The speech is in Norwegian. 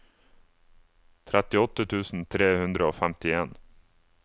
trettiåtte tusen tre hundre og femtien